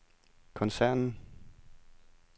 koncernen